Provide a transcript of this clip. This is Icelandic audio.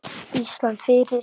Ísland fyrir